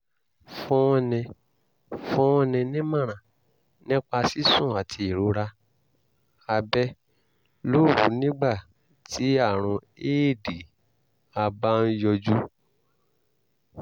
fúnni fúnni nímọ̀ràn nípa sísùn àti ìrora abẹ́ lóru nígbà tí àrùn éèdì a bá ń yọjú